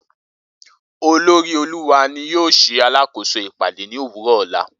Olori oluwa ni yoo ṣe alakoso ipade ni owurọ ọla